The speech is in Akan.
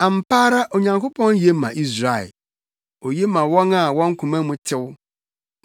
Ampa ara Onyankopɔn ye ma Israel, oye ma wɔn a wɔn koma mu tew.